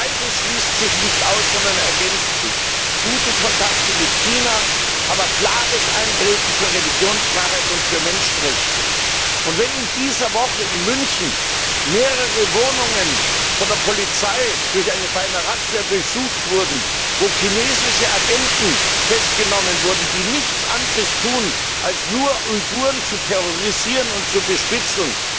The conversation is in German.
Beides schließt sich nicht aus, sondern ergänzt sich gute Kontakte mit China, aber klares Eintreten für Religionsfreiheit und für Menschenrechte. Wenn in dieser Woche in München mehrere Wohnungen von der Polizei bei einer Razzia durchsucht wurden, wobei chinesische Agenten festgenommen wurden, die nichts anderes tun, als Uiguren zu terrorisieren und zu bespitzeln,